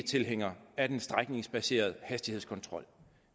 tilhængere af den strækningsbaserede hastighedskontrol